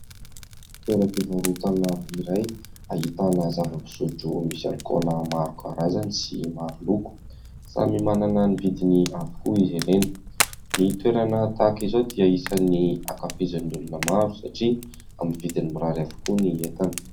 Toeram-pivarotana iray ahitana zava-pisotro misy alikaola maro karazany sy maro loko, samy manana ny vidiny avokoa izy ireny; ny toerana tahaka izao dia isan'ny ankafizan'ny olona maro satria amin'ny vidiny mirary avokoa ny entana.